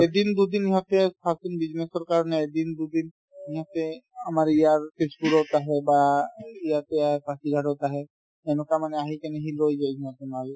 এদিন দুদিন সিহঁতে business ৰ কাৰণে এদিন দুদিন সিহঁতে আমাৰ ইয়াৰ festival ত আহে বা ইয়াতে আহে পাচিঘাটত আহে এনেকুৱা মানে আহি কিনেহি লৈ যায় সিহঁতে মাল